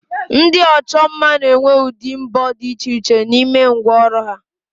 Ndi ocho mma n'enwe udi mbo di iche iche n'ime ngwa oru ha